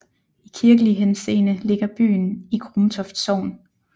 I kirkelig henseende ligger byen i Grumtoft Sogn